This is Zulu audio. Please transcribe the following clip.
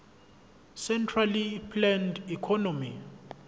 centrally planned economy